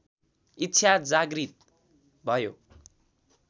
इच्छा जागृत भयो